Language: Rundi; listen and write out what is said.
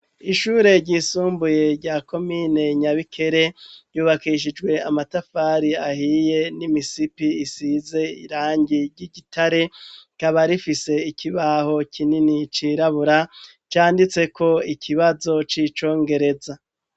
Ishure ryisumbuye rya komine Nyabikere, ryubakishijwe amatafari ahiye n'imisipi isize irangi ry'igitare ,rikaba rifise ikibaho kinini cirabura, canditseko ikibazo c'icongereza